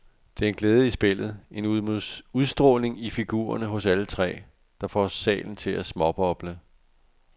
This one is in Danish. Der er en glæde i spillet, en udstråling i figurerne hos alle tre, der får salen til at småboble.